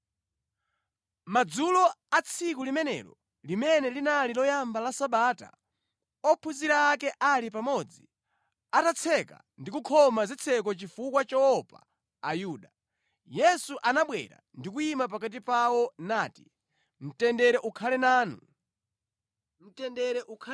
Madzulo a tsiku limenelo limene linali loyamba la Sabata ophunzira ake ali pamodzi, atatseka ndi kukhoma zitseko chifukwa choopa Ayuda, Yesu anabwera ndi kuyima pakati pawo nati, “Mtendere ukhale nanu!”